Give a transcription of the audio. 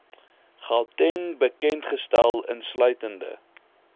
gauteng bekendgestel insluitende